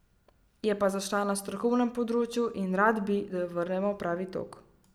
Je pa zašla na strokovnem področju in rad bi, da jo vrnemo v pravi tok.